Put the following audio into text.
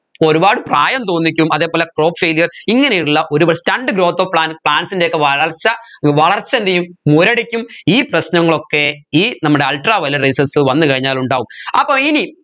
ഒരുപാട് പ്രായം തോന്നിക്കും അതേപോലെ crop failure ഇങ്ങനെയുള്ള ഒരു stunted growth of plants ൻറെ ഒക്കെ വളർച്ച വളർച്ച എന്ത് ചെയ്യും മുരടിക്കും ഈ പ്രശ്നങ്ങളൊക്കെ ഈ നമ്മുടെ ultraviolet rayses വന്നു കഴിഞ്ഞാൽ ഉണ്ടാവും അപ്പോ ഇനി